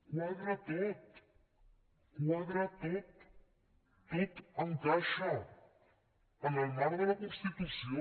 quadra tot quadra tot tot encaixa en el marc de la constitució